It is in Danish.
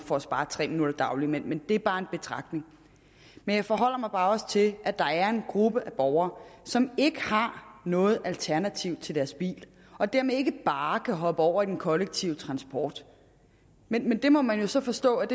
for at spare tre minutter dagligt men det er bare en betragtning men jeg forholder mig bare også til at der er en gruppe af borgere som ikke har noget alternativ til deres bil og dermed ikke bare kan hoppe over i den kollektive transport men det må man jo så forstå at